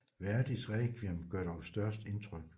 Verdis Rekviem gør dog størst indtryk